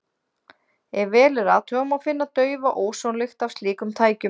Ef vel er athugað, má finna daufa ósonlykt af slíkum tækjum.